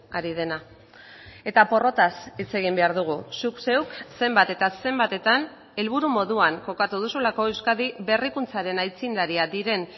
ari dena eta porrotaz hitz egin behar dugu zuk zeuk zenbat eta zenbatetan helburu moduan kokatu duzulako euskadi berrikuntzaren aitzindariak diren